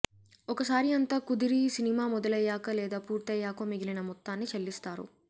ఒకసారి అంతా కుదిరి సినిమా మొదలయ్యాక లేదా పూర్తయ్యాకో మిగిలిన మొత్తాన్ని చెల్లిస్తారు